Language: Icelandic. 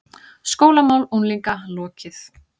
SKÓLAMÁL UNGLINGA LOKIÐ